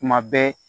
Tuma bɛɛ